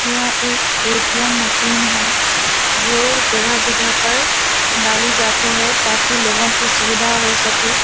यह एक ATM. Machine है जो जगह-जगह पर डाली जाती है ताकी लोगों को सुविधा हो सके।